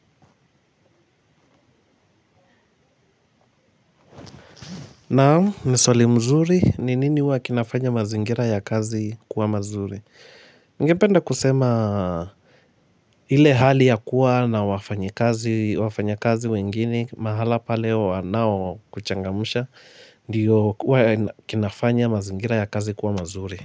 Naamu, niswali mzuri, ninini huwakinafanya mazingira ya kazi kuwa mazuri? Ningependa kusema ile hali ya kuwa na wafanya kazi wengine, mahala pale wanao kuchangamusha, ndiyo wakinafanya mazingira ya kazi kuwa mazuri.